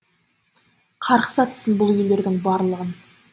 қарғыс атсын бұл үйлердің барлығын